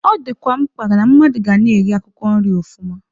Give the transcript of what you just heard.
Ọ dịkwa mkpa na-mmadụ ga na-eri akwụkwọ nri ọfụma.